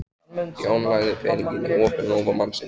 Jón lagði peninginn í opinn lófa mannsins.